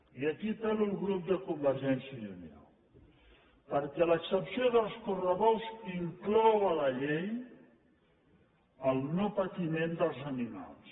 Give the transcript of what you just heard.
i aquí apel·lo al grup de convergència i unió perquè l’excepció dels correbous inclou a la llei el no patiment dels animals